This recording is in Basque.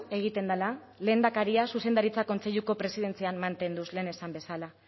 egiten dela lehendakaria zuzendaritza kontseiluko presidentzian mantenduz lehen esan bezala